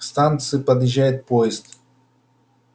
к станции подъезжает поезд